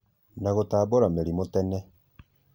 na gũtambũra mĩrimũ tene